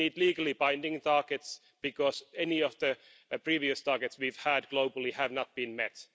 We need legally binding targets because none of the previous targets we've had globally have been met.